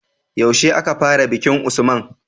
Yaushe aka fara bikin usman?